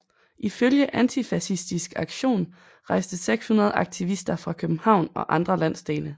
Ifølge Antifascistisk Aktion rejste 600 aktivister fra København og andre landsdele